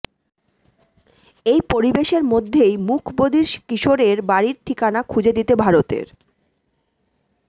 এই পরিবেশের মধ্যেই মুখ বধির কিশোরের বাড়ির ঠিকানা খুঁজে দিতে ভারতের